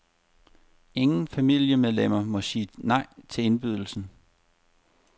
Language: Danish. Ingen familiemedlemmer må sige nej til indbydelsen.